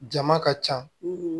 Jama ka ca